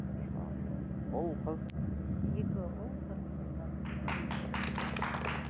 ұл қыз екі ұл бір қызым бар ммм